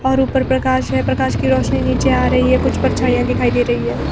और ऊपर प्रकाश है प्रकाश की रोशनी नीचे आ रही है कुछ परछाइयां दिखाई दे रही है।